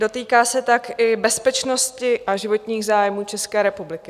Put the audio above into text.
Dotýká se tak i bezpečnosti a životních zájmů České republiky.